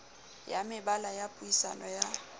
ya mebala ya puisano ya